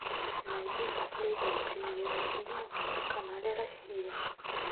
найди последние премьеры фильмов на канале россия